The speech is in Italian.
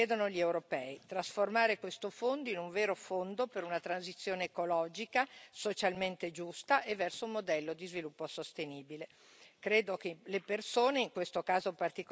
Adesso serve un passo in più, quello che ci chiedono gli europei trasformare questo fondo in un vero fondo per una transizione ecologica, socialmente giusta e verso un modello di sviluppo sostenibile.